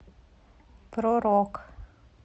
про рок